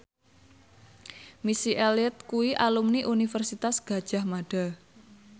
Missy Elliott kuwi alumni Universitas Gadjah Mada